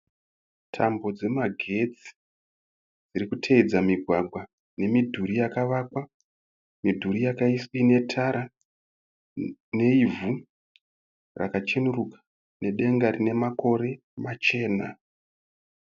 Tambo dzemagetsi dziri kuteedza migwagwa nemidhuri yakavakwa. Midhuri ine tara neivhu raka cheneruka nedenga rine makore machena.